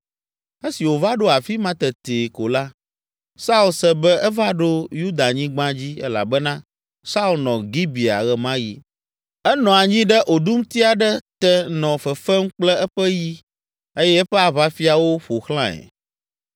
Esi wòva ɖo afi ma tetee ko la, Saul se be eva ɖo Yudanyigba dzi elabena Saul nɔ Gibea ɣe ma ɣi. Enɔ anyi ɖe oɖumti aɖe te nɔ fefem kple eƒe yi eye eƒe aʋafiawo ƒo xlãe.